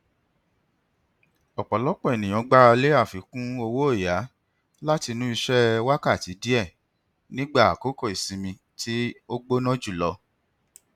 ọpọlọpọ ènìyàn gbaralé àfikún owóọyà látinú iṣẹ wákàtí díè nígbà àkókò isinmi tí ó gbóná jùlọ